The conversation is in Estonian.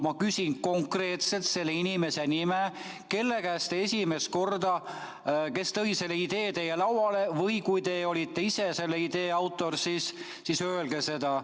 Ma küsin konkreetselt selle inimese nime, kelle käest te esimest korda seda kuulsite või kes tõi selle idee teie lauale või kui te olite ise selle idee autor, siis öelge seda.